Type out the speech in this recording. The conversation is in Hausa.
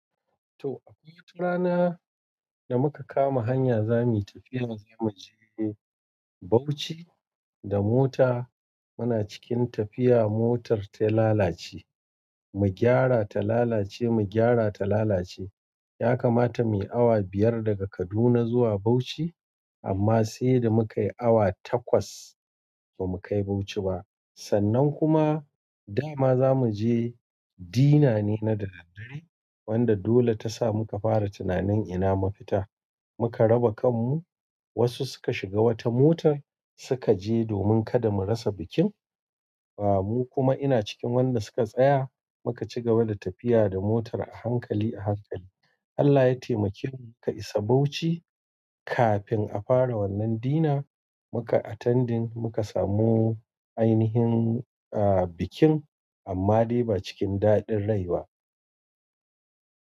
To, akwai wata rana da muka kama hanya za muyi tafiya zamu je Bauchi da mota. Muna cikin tafiya motar ta lalace, mu gyara ta lalace, mu gyara ta lalace. Ya kamata mu yi awa biyar daga Kaduna zuwa Bauchi amma sai da muka yi awa takwas ba mukai Bauchi ba. Sannan kuma da ma za mu je dinner ne na daddare wanda dole ta sa muka fara tunanin ina mafita. Muka raba kanmu, wasu suka shiga wata motar suka je domin kada mu rasa bikin. Ba mu kuma ina cikin wanda suka tsaya muka ci gaba da tafiya da motar a hankali a hankali. Allah ya taimake mu muka isa Bauchi kafin a fara wannan dina. Mukai attending muka samu ainihin, ah, bikin amma dai ba cikin daɗin rai ba.